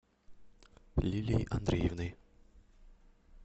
лилией андреевной